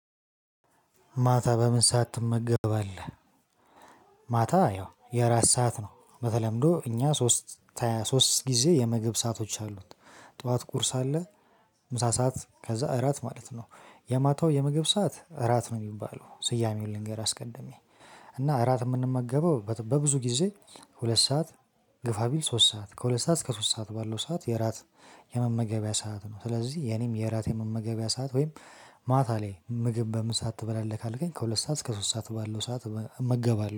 ማታ በምን ሰዓት ትመገባለህ? ማታ ያው የእራት ሰዓት ነው በተለምዶ እኛ ሶስት ሶስት ጊዜ የምግብ ሰአቶች አሉት። ጠዋት ቁርስ አለ። ምሳ ሰዓት ከዛ እራት ማለት ነው። የማታው የምግብ ሰዓት እራት ነው የሚባለው ስያሜውን ልንገር አስቀድሜ። እና እራት የምንመገበው በብዙ ጊዜ ሁለት ሰዓት ግፋ ቢል ሶስት ሰዓት ከሁለት ሰዓት እስከ ሶስት ሰዓት ባለው ሰዓት የእራት የመመገቢያ ሰዓት ነው። ስለዚህ የኔም የእራት የመመገቢያ ሰዓት ወይም ማታ ላይ ምግብ በምን ሰዓት አትበላለህ? ካልከኝ ከሁለት ሰዓት እስከ ሶስት ሰዓት ባለው ሰዓት እመገባለሁ